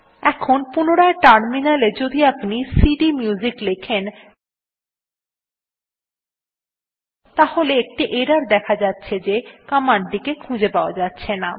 এখন পুনরায় টার্মিনাল এ যদি আপনি সিডিএমইউজিক লেখেন তাহলে একটি এরর দেখা যাচ্ছে যে কমান্ড টি কে খুঁজে পাওয়া যাচ্ছেনা